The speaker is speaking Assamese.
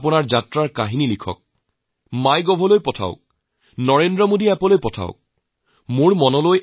আপোনালোকে ফুৰিবলৈ যোৱা আচৰিত লগা সকলো প্ৰৱন্ধ লিখি মাইগভলৈ পঠাই দিয়ক Narendramodiappত পঠিয়াই দিয়ক